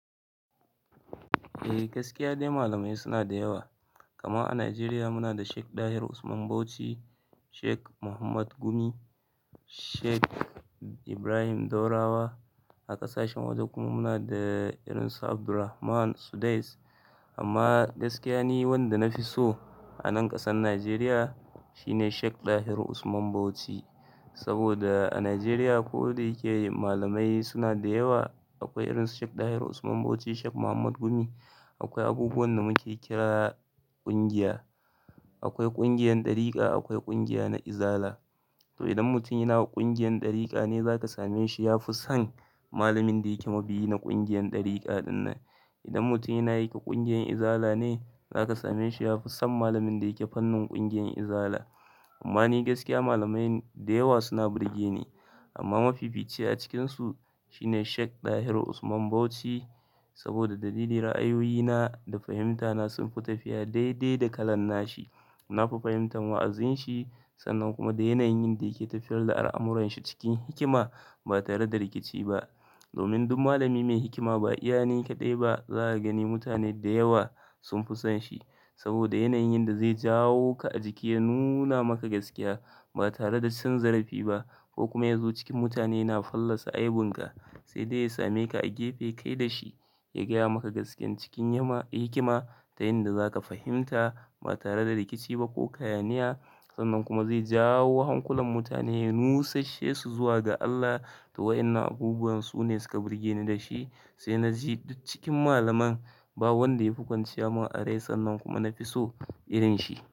Eh, gaskiya dai malamai suna da yawa. Kaman a Nigeria munada Sheikh dahiru usman Bauchi, Sheikh Muhammad gumi, Sheikh Ibrahim ɗaurawa. A ƙasashen waje kuma muna da irin su Abdulrahman Sudais. Amma gaskiya ni wanda na fi so a nan ƙasan Najeriya shine Sheik Dahiru Usman Bauchi. Saboda a Najeriya ko da yake malamai suna da yawa, akwai irin su Sheik Dahiru Usman Bauchi, Sheik Muhammad Gumi. Akwai abubuwan da muke kira ƙungiya. Akwai ƙungiyar ɗarika, akwai ƙungiya na izala. To idan mutum yana ƙungiyar ɗarika ne, za ka same shi ya fi son malamin da yake mabiyi na ƙungiyar ɗarika ɗinnan. Idan mutum yana yin ƙungiyar izala ne zaka sameshi yafi son malamin da yake fannin ƙungiyar izala amma ni gaskiya malamai dayawa suna burge ni. Amma mafi fici a cikinsu shine Sheik Dahiru Usman Bauchi. Saboda dalili ra'ayoyina da fahimtana sunfi tafiya daidai da kalan nashi. Na fi fahimtar wa'azin shi sannan kuma da yanayin yanda yake tafiyar da al'amuranshi cikin hikima ba tare da rikici ba. Domin duk malami mai hikima ba iya ni kaɗai ba, zaka gani mutane da yawa sun fi son shi. Saboda yanayin da zai jawo ka a jiki ya nuna maka gaskiya ba tare da cin zarafi ba ko kuma ya zo cikin mutane yana fallasa aibun ka, sai dai ya same ka a gefe kai da shi ya gaya maka gaskiyan cikin yama-- hikima ta yanda za ka fahimta ba tare da rikici ba ko hayaniya. Sannan kuma zai jawo hankulan mutane ya nusashe su zuwa ga Allah to wainnan abubuwan su ne suka burge ni da shi. Sai na ji duk cikin malaman ba wanda ya fi kwanciya mun a rai sannan kuma na fi so irin shi.